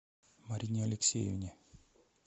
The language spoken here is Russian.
марине алексеевне